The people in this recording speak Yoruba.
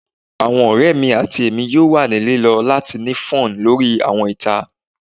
Awọn ọrẹ mi ati Emi yoo wa ni lilọ lati ni fun lori awọn ita